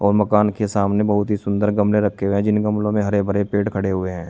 और मकान के सामने बहुत ही सुंदर गमले रखे हुए हैं जिन गमलो में हरे भरे पेड़ खड़े हुए हैं।